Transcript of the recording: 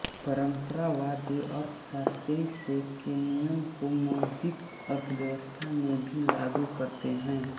परम्परावादी अर्थशास्त्री से के नियम को मौद्रिक अर्थव्यवस्था में भी लागू करते है